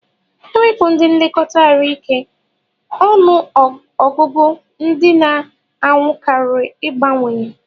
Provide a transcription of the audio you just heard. Ewepu ndi nlekọta arụ ike ọnụ ọgụgụ ndi na anwụ kari igbawanye.